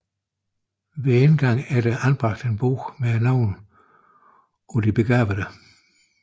Ved indgangen er der anbragt en bog med navnene på de begravede